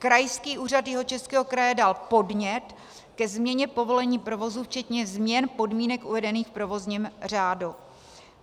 Krajský úřad Jihočeského kraje dal podnět ke změně povolení provozu včetně změn podmínek uvedených v provozním řádu.